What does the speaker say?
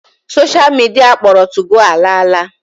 Sosha midia akpọrọ 2go ala ala.